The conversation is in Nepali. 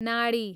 नाडी